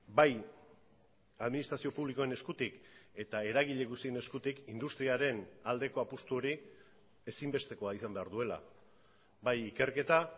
bai administrazio publikoen eskutik eta eragile guztien eskutik industriaren aldeko apustu hori ezinbestekoa izan behar duela bai ikerketa